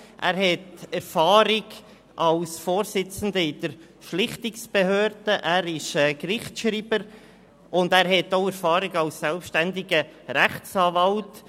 er hat Erfahrung als Vorsitzender der Schlichtungsbehörde, ist Gerichtsschreiber und hat auch Erfahrung als selbstständiger Rechtsanwalt.